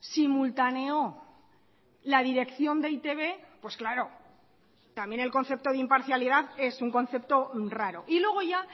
simultaneó la dirección de e i te be pues claro también el concepto de imparcialidad es un concepto raro y luego ya